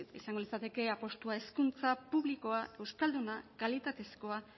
izango litzateke apustua hezkuntza publikoa euskalduna kalitatekoa